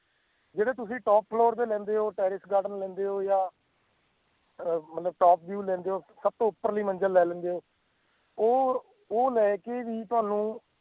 ਜੇ ਤਾਂ ਤੁਸੀਂ top floor ਤੇ ਲੈਂਦੇ ਹੈ terrace garden ਲੈਂਦੇ ਹੋ ਜਾਂ ਅਹ ਮਲਤਬ top view ਲੈਂਦੇ ਹੋ ਸਭ ਤੋਂ ਉਪਰਲੀ ਮੰਜ਼ਿਲ ਲੈ ਲੈਂਦੇ ਹੋ ਉਹ ਹੁਣ ਉਹ ਲੈ ਕੇ ਵੀ ਤੁਹਾਨੂੰ